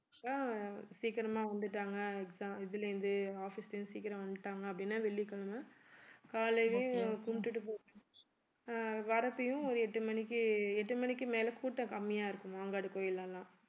அஹ் சீக்கிரமா வந்துட்டாங்க exam இதுல இருந்து office ல இருந்து சீக்கிரம் வந்துட்டாங்க அப்படின்னா வெள்ளிக்கிழமை காலையிலயே கும்பிட்டுட்டு ஒரு எட்டு மணிக்கு எட்டு மணிக்கு மேல கூட்டம் கம்மியா இருக்கும் மாங்காடு கோயில்ல எல்லாம்